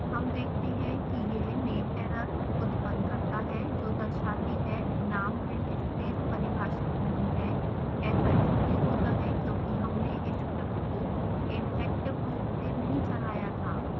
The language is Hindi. हम देखते हैं कि यह nameerror उत्पन्न करता है जो दर्शाती है नाम linspace परिभाषित नहीं है